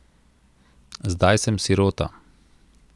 Zdaj sem sirota.